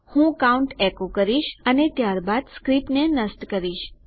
હું count echo કરીશ અને ત્યારબાદ સ્ક્રીપ્ટને નષ્ટ કરીશ